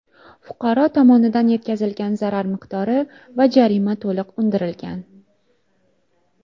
Fuqaro tomonidan yetkazilgan zarar miqdori va jarima to‘liq undirilgan.